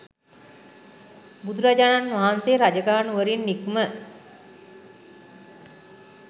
බුදුරජාණන් වහන්සේ රජගහ නුවරින් නික්ම